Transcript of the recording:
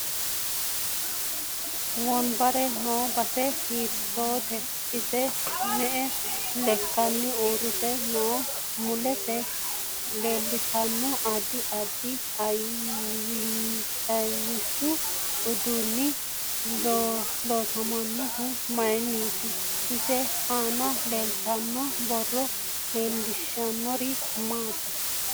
Wonbbare noo base hiitoote ise me'e lekkanni uurite no mulese leelatanno addi addi yanaasichu uduunichi loosaminohu mayiiniiti isi aana leeltano borro leelishanori maati